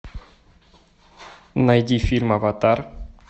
найди фильм аватар